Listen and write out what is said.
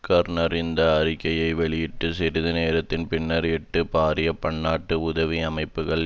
கார்நர் இந்த அறிக்கையை வெளியிட்டு சிறிது நேரத்தின் பின்னர் எட்டு பாரிய பன்னாட்டு உதவி அமைப்புக்கள்